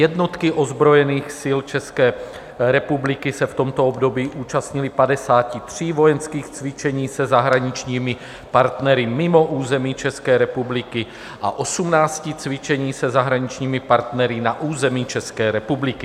Jednotky ozbrojených sil České republiky se v tomto období účastnily 53 vojenských cvičení se zahraničními partnery mimo území České republiky a 18 cvičení se zahraničními partnery na území České republiky.